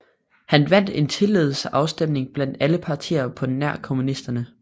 Han vandt en tillidsafstemning blandt alle partier på nær kommunisterne